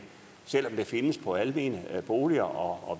selv om findes på almene boliger og